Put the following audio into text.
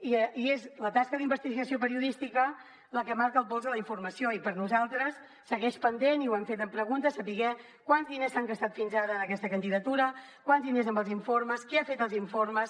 i és la tasca d’investigació periodística la que marca el pols de la informació i per nosaltres segueix pendent i ho hem fet amb preguntes saber quants diners s’han gastat fins ara en aquesta candidatura quants diners amb els informes qui ha fet els informes